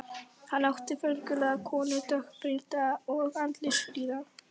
Hann átti föngulega konu, dökkbrýnda og andlitsfríða.